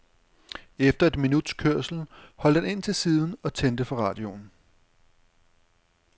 Efter et minuts kørsel holdt han ind til siden og tændte for radioen.